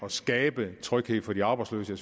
at skabe tryghed for de arbejdsløse